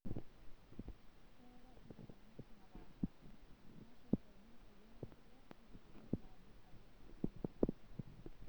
Keetae inkukunik naapasha, irmasher ojing' oriong enkiteng wonkukunik naajig' atwa osesen lenkiteng'.